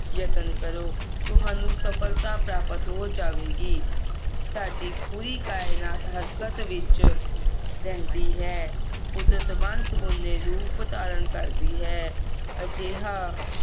ਯਤਨ ਕਰੋ ਤੁਹਾਨੂੰ ਸਫਲਤਾ ਪ੍ਰਾਪਤ ਹੋ ਜਾਵੇਗੀ ਸਾਡੀ ਪੂਰੀ ਕਾਇਨਾਤ ਹਰਕਤ ਵਿਚ ਰਹਿੰਦੀ ਹੈ ਕੁਦਰਤ ਵੰਨ ਸੁਵੰਨੇ ਰੂਪ ਧਾਰਨ ਕਰਦੀ ਹੈ ਅਜਿਹਾ